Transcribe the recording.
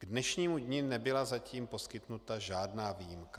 K dnešnímu dni nebyla zatím poskytnuta žádná výjimka.